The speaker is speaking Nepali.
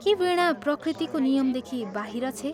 के वीणा प्रकृतिको नियमदेखि बाहिर छे?